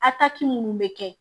minnu bɛ kɛ